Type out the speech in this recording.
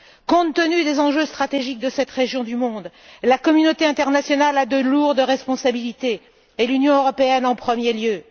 Compte tenu des enjeux stratégiques de cette région du monde, la communauté internationale a de lourdes responsabilités et l'Union européenne en premier lieu.